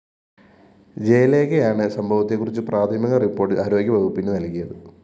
ജയലേഖയാണ് സംഭവത്തെക്കുറിച്ച് പ്രാഥമിക റിപ്പോർട്ട്‌ ആരോഗ്യ വകുപ്പിനു നല്‍കിത്